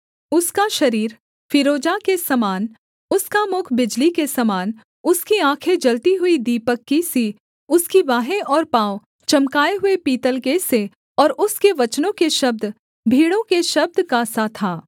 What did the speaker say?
उसका शरीर फीरोजा के सामना उसका मुख बिजली के सामना उसकी आँखें जलते हुए दीपक की सी उसकी बाहें और पाँव चमकाए हुए पीतल के से और उसके वचनों के शब्द भीड़ों के शब्द का सा था